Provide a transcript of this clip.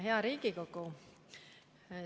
Hea Riigikogu!